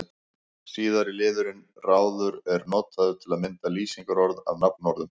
Síðara liðurinn-ráður er notaður til að mynda lýsingarorð af nafnorðum.